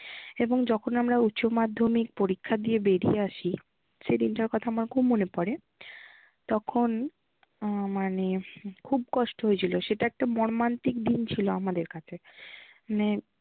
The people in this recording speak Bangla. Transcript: এবং যখন আমরা উচ্চমাধ্যমিক পরীক্ষা দিয়ে বেরিয়ে আসি সেইদিন টার কথা আমার খুব মনে পড়ে। তখন আহ মানে খুব কষ্ট হয়েছিল সেটা একটা মর্মান্তিক দিন ছিল আমাদের কাছে। মানে